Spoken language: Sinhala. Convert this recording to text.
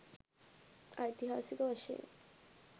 ඓතිහාසික වශයෙන්